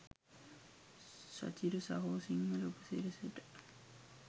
සචිර සහෝ සිංහල උපසිරැසියට.